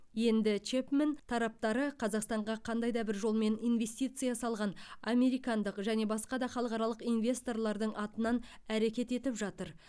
енді чэпмен тараптары қазақстанға қандай да бір жолмен инвестиция салған американдық және басқа да халықаралық инвесторлардың атынан әрекет етіп жатыр